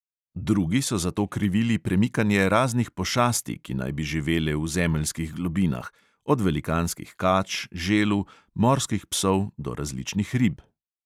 Drugi so za to krivili premikanje raznih pošasti, ki naj bi živele v zemeljskih globinah, od velikanskih kač, želv, morskih psov do različnih rib.